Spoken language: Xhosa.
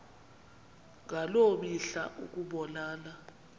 ngaloo mihla ukubonana